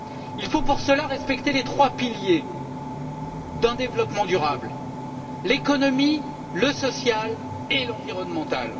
Il faut pour cela respecter les trois piliers d'un développement durable l'économie, le social et l'environnemental.